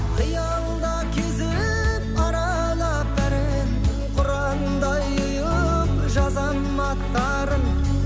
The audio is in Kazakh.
қиялда кезіп аралап бәрін құрандай ұйып жазамын аттарын